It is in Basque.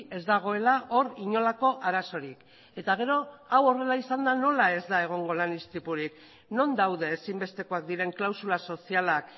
ez dagoela hor inolako arazorik eta gero hau horrela izanda nola ez da egongo lan istripurik non daude ezinbestekoak diren klausula sozialak